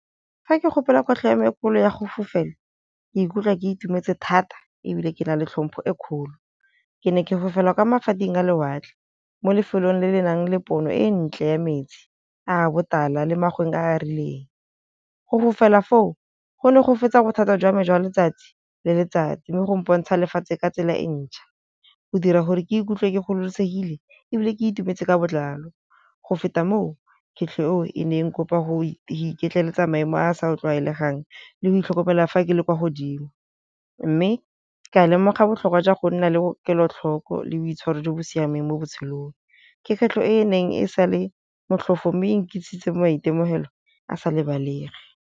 Fa ke gopola ya me e kgolo ya go fofela ke ikutlwa ke itumetse thata ebile ke na le tlhompho e kgolo. Ke ne ke fofela kwa mafading a lewatle, mo lefelong le le nang le pono e ntle ya metsi a botala le magweng a a rileng. Go fofela foo go ne go fetsa bothata jwa me jwa letsatsi le letsatsi mme go montsha lefatshe ka tsela e ntšha, go dira gore ke ikutlwe ke gololosegile ebile ke itumetse ka botlalo, go feta moo e ne e nkopa go iketleletsa maemo a sa tlwaelegang le go itlhokomela fa ke le kwa godimo mme, ka lemoga botlhokwa jwa go nna le kelotlhoko le boitshwaro jo bo siameng mo botshelong. Ke e e neng e sale motlhofo mme e nkitsise maitemogelo a sa lebalege.